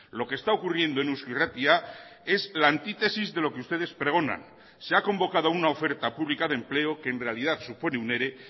lo que está ocurriendo en eusko irratia es la antítesis de lo que ustedes pregonan se ha convocado una oferta pública de empleo que en realidad supone un ere